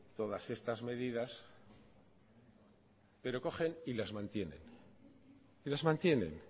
todas estas medidas pero cogen y las mantienen y las mantienen